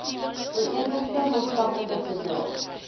ooreenkomste maatskaplike verdrae